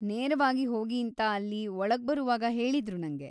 ನೇರವಾಗಿ ಹೋಗೀಂತ ಅಲ್ಲಿ ಒಳಗ್ಬರುವಾಗ ಹೇಳಿದ್ರು ನಂಗೆ.